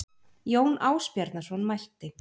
Jón Ásbjarnarson mælti